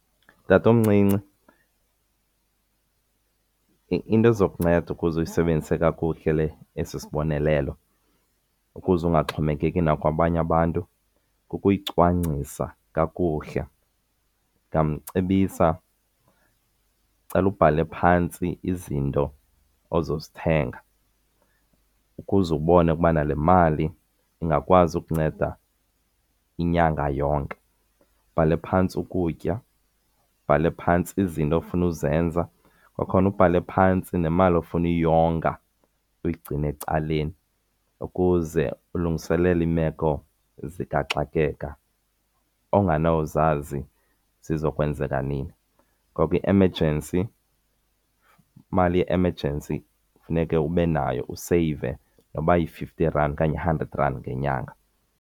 Tatomncinci, into ezokunceda ukuze usisebenzise kakuhle esi sibonelelo, ukuze ungaxhomekeki nakwabanye abantu kukuyicwangcisa kakuhle. Ndingamcebisa, ndicela ubhale phantsi izinto ozozithenga ukuze ubone ukuba le mali ingakwazi ukunceda inyanga yonke. Ubhale phantsi ukutya, ubhale phantsi izinto ofuna uzenza, kwakhona ubhale phantsi nemali ofuna uyonga uyigcine ecaleni ukuze ulungiselele iimeko zikaxakeka ongenawuzazi ziza kwenzeka nini. Ngoko i-emergency, imali ye-emergency funeke ube nayo, useyive noba yi-fifty rand okanye hundred rand ngenyanga.